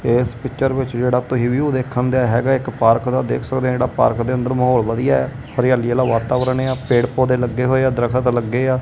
ਏਸ ਪਿੱਚਰ ਵਿੱਚ ਜਿਹੜਾ ਤੁਹੀ ਵਿਊ ਦੇਖਣ ਦੇ ਹੈਗਾ ਇੱਕ ਪਾਰਕ ਦਾ ਦੇਖ ਸਕਦੇ ਆਂ ਜਿਹੜਾ ਪਾਰਕ ਦੇ ਅੰਦਰ ਮਾਹੌਲ ਵਧੀਆ ਐ ਹਰਿਆਲੀ ਆਲਾ ਵਾਤਾਵਰਨ ਏ ਆ ਪੇੜ ਪੋਤੇ ਲੱਗੇ ਹੋਏ ਆ ਦਰਖਤ ਲੱਗੇ ਆ।